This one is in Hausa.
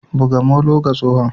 buga molo ma tsohon.